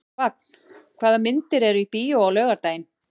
Vagn, hvaða myndir eru í bíó á laugardaginn?